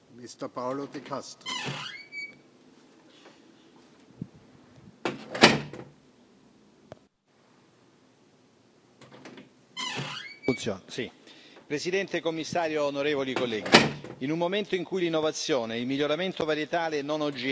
Signor Presidente, signor Commissario, onorevoli colleghi, in un momento in cui l'innovazione e il miglioramento varietale non OGM delle piante sono l'unico modo per ridurre l'impatto ambientale del settore agricolo, la decisione da parte dell'Ufficio europeo dei brevetti è per noi inaccettabile.